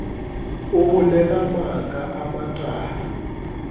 o bolela maaka a matala